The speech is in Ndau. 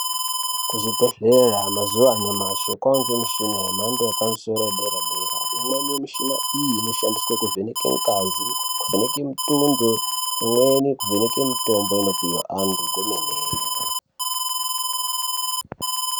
Kuzvibhedhleya mazuva anyamashe kwave nemishina yemhando yepamusoro wederadera . Imweni mishina iyi inoshandiswe kuvheneke ngazi, kuvheneke mitundo, imweni kuvheneke mitombo inopuwa vantu kwemene.